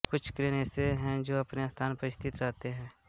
कुछ क्रेन ऐसे हैं जो अपने स्थान पर स्थिर रहते है